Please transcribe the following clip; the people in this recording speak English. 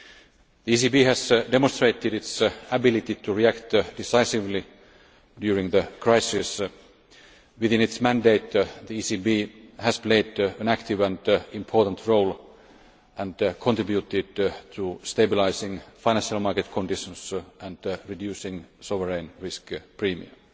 The ECB has demonstrated its ability to react decisively during the crisis. Within its mandate the ECB has played an active and important role and contributed to stabilising financial market conditions and reducing sovereign risk premiums.